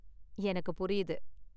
எனக்கு புரியுது.